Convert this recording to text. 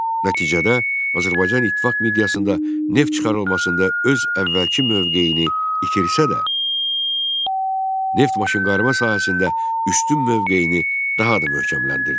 Nəticədə Azərbaycan İttifaq miqyasında neft çıxarılmasında öz əvvəlki mövqeyini itirsə də, neft maşınqayırma sahəsində üstün mövqeyini daha da möhkəmləndirdi.